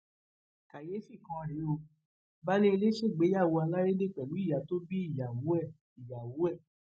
kàyééfì kan rèé o baálé ilé ṣègbéyàwó alárédè pẹlú ìyá tó bí ìyàwó ẹ ìyàwó ẹ